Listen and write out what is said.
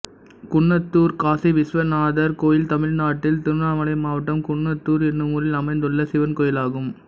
குன்னத்தூர் காசிவிஸ்வநாதர் கோயில் தமிழ்நாட்டில் திருவண்ணாமலை மாவட்டம் குன்னத்தூர் என்னும் ஊரில் அமைந்துள்ள சிவன் கோயிலாகும்